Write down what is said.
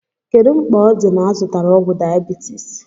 Kedu mkpa o di na -azụtara ọgwụ diabeities?